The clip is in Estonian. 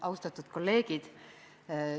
Austatud kolleegid!